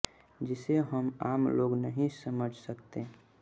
जिसे हम आम लोग नही समझ सकते हैं